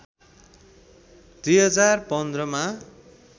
२०१५ मा